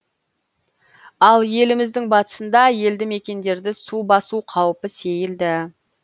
ал еліміздің батысында елді мекендерді су басу қаупі сейілді